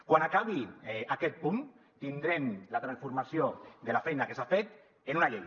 quan acabi aquest punt tindrem la transformació de la feina que s’ha fet en una llei